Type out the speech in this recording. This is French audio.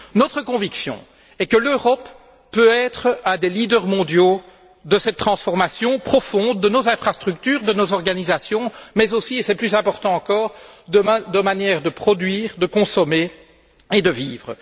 Notre conviction est que l'Europe peut être un des leaders mondiaux de cette transformation profonde de nos infrastructures, de nos organisations mais aussi, et c'est plus important encore, de notre de manière de produire, de consommer et de vivre.